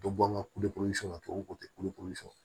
Dɔ bɔ an ka ka to k'o tɛ kulukoro sɔn